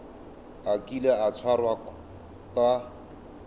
a kile a tshwarwa ka